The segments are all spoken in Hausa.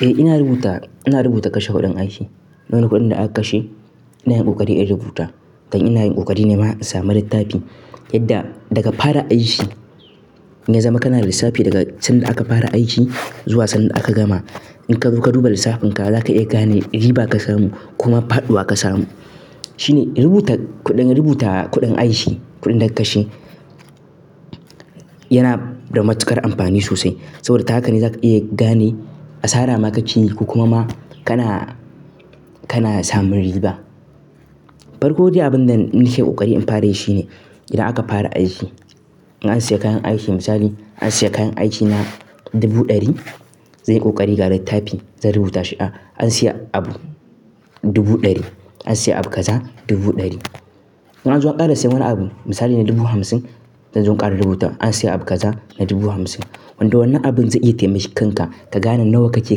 Eh ina rubuta, ina rubuta kashe kuɗin aiki. Wani kuɗin da aka kashe ina yin ƙoƙari in rubuta. Kan ina yin ƙoƙari ne ma in sami littafi yadda daga fara aiki, ya zama kana da lissafi daga sanda aka fara aiki zuwa sanda aka gama. In ka zo ka duba lissafin ka za ka iya gane riba ka samu kuma faɗuwa ka samu. Shine rubuta kuɗin, rubuta kuɗin aiki, kuɗin da aka kashe yana da matuƙar amfani sosai. Saboda ta haka ne za ka iya gane asara ma ka ci ko kuma ma kana, kana samun riba. Farko dai abun da nike ƙoƙari in fara yi shine idan aka fara aiki, in an siya kayan aiki misali an siya kayan aiki na dubu ɗari zai yi ƙoƙari ga littafi zan rubuta shi, an siya abu dubu ɗari, an siya abu kaza dubu ɗari. In an zo an ƙara siyan wani abu misali na dubu hamsin zan zo in ƙara rubuta an siya abu kaza na dubu hamsin. Wanda wannan abun zai iya taimaka kanka ka gane nawa kake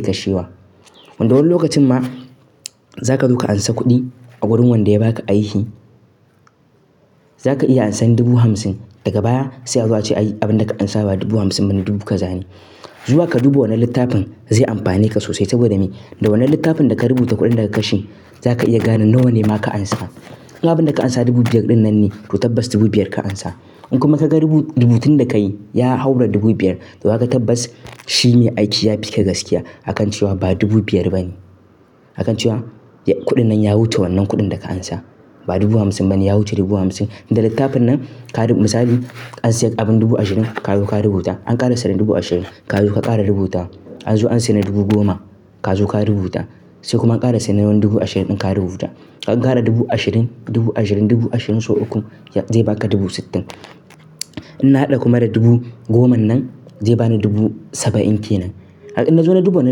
kashewa. Wanda wani lokacin ma za ka zo ka ansa kuɗi a wurin wanda ya ba ka aiki, za ka iya ansan dubu hamsin daga baya sai a zo a ce ai abun da ka ansa ba dubu hamsin ba ne dubu kaza ne. Zuwa ka dubba wannan litafin zai amfani ne ka sosai saboda mai da wannan litafin da ka rabuta kudin da ka kashe za ka iya gane nawa ne ma ka ansa in abun da ka ansa dubu biyar din nan ne to tabas dubu biyar ka ansa. In kuma ka ga rubu-rubutun da ka yi ya haura dubu biyar to haka tabbas shi me aiki ya fi ka gaskiya a kan cewa ba dubu biyar ba ne. Akan cewa kudin nan ya wuce wannan kudin da ka ansa ba dubu hamsin ba ne ya wuce dubu hamsin. Da latifin nan ka misali an siya abun dubu ashirin ka zo rubuta an kara siya na dubu ashirin ka zo ka kara rubuta. An zo an siya na dubu goma ka zo ka rubuta. Sai kuma an ƙara siya na wani dubu ashirin ɗin ka rubuta. Ka ƙara dubu ashirin, dubu ashirin, dubu ashirin sau uku zai ba ka dubu sittin. In na haɗa kuma da dubu goman nan zai bani dubu saba'in kenan. In nazo na duba na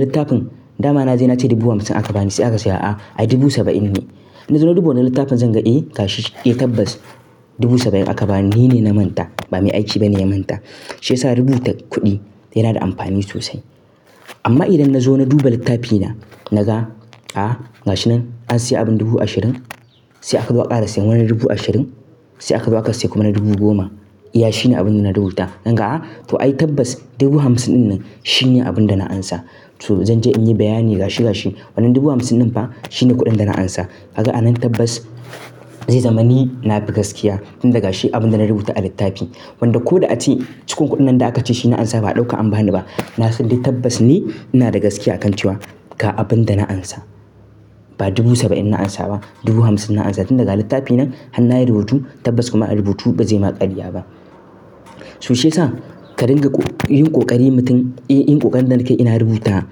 littafin, dama na je na ce dubu hamsin aka bani sai aka siya a, ai dubu saba'in ne. In nazo na duba wannan littafin zan ga eh gashi, eh tabbas dubu saba'in aka bani ni ne na manta ba me aiki ba ne na manta. Shi yasa rubuta kuɗi yana da amfani sosai. Amma idan na zo na duba littafi na, na ga a, ga shi nan an siya abin dubu ashirin, sai aka zo aka ƙara siyan wani dubu ashirin. Sai aka zo aka siya kuma na dubu goma. Iya shine abin da na rubuta. Zan ga a, to ai tabbas dubu hamsin ɗin nan shine abin da na ansa. To zan je in yi bayani ga shi ga shi wannan dubu hamsin ɗin fa shine kuɗin da na ansa. Ka ga a nan tabbas zai zama ni na fi gaskiya tun daga shi abin da na rubuta a littafi. Wanda ko da ace cikon kuɗin nan da aka ci shi na ansa ba a ɗauka an bani ba. Na san dai tabbas ni ina da gaskiya a kan cewa ga abun da na ansa. Ba dubu saba'in na ansa ba dubu hamsin na ansa tun da ga littafi nan har na yi rubutu tabbas kuma rubutu ba zai ma ƙarya ba. So shi yasa ka dinga yin ƙoƙari mutum, eh yin ƙoƙarin da na ke ina rubuta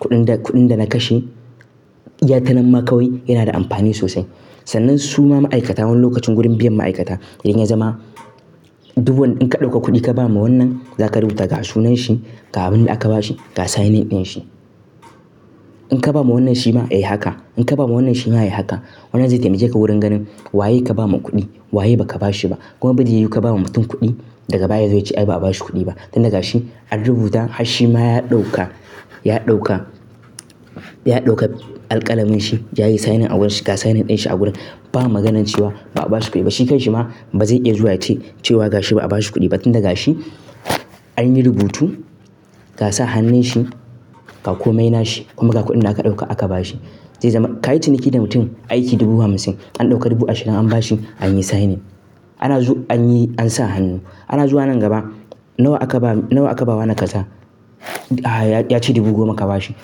kuɗin da, kuɗin da na kashe ya tanam ma kawai yana da amfani sosai. Sannan suma ma'aikata wani lokacin gurin biyan ma'aikata idan ya zama duk wan in ka ɗauka kuɗi ka ba ma wannan za ka rubuta ga sunan shi, ga abun da aka bashi, ga signin ɗin shi. In ka ba ma wannan shi ma eh haka in ka ba wa wannan shi ma eh haka. Wannan zai taimake ka wurin ganin waye ka ba ma kuɗi waye ba ka bashi ba. Kuma ba zai yiwu ka ba ma mutum kuɗi daga baya ya zo ya ce ai ba a bashi kuɗi ba. Tun da ga shi an rubuta, har shi ma ya ɗauka, ya ɗauka, ya ɗauka alkalamin shi, ya yi signin a wurin shi ga signin ɗin shi a wurin. Ba maganan cewa ba a bashi kuɗi ba. Shi kan shi ma ba zai iya zuwa ya ce cewa ga shi ba a bashi kuɗi ba tun da ga shi an yi rubutu ga sa hannun shi ga komai na shi kuma ga kuɗin da aka ɗauka aka ba shi. Zai zama ka yi ciniki da mutum aiki dubu hamsin an ɗauka dubu ashirin an bashi an yi signin. Ana zu an yi an sa hannu. Ana zuwa nan gaba nawa aka ba nawa aka ba wa na kaza? A ya ya ce dubu goma ka bashi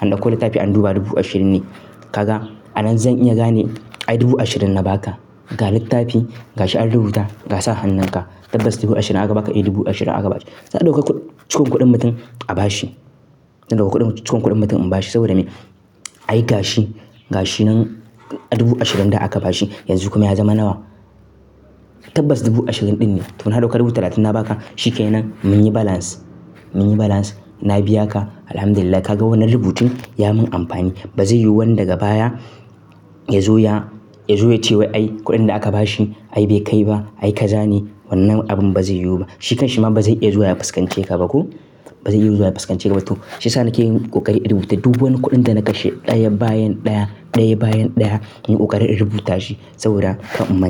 an ɗauko littafi an duba dubu ashirin ne. Ka ga a nan zan iya gane ai dubu ashirin na ba ka. Ga litafi ga shi an rubuta ga sa hanun ka tabas dubu ashirin aka baka eh dubu ashirin aka ba shi sa a dauka ku cikon kudin mutum a bashi. Zan ɗauko kuɗin cikon kuɗin mutum in ba shi saboda me? Ai ga shi, ga shi nan dubu ashirin da aka bashi yanzu kuma ya zama nawa? Tabbas dubu ashirin ɗin ne. To na ɗauka dubu talatin na ba ka shi ke nan mun yi balance, mun yi balance. Na biya ka Alhamdulillah ka ga wannan rubutun ya mun amfani. Ba zai yiwu wani daga baya ya zo ya, ya zo ya ce wai ai kuɗin da aka bashi ai bai kai ba ai kaza ne wannan abun ba zai yiwu ba. Shi kan shi ma ba zai iya zuwa ya faskance ka ba ko? Ba zai iya zuwa ya fuskance ka ba to. Shi yasa nake yin ƙoƙari in rubuta duk wani kuɗin da na kashe ɗaya bayan ɗaya, ɗaya bayan ɗaya in yi ƙoƙari in rubuta shi saboda ka in man.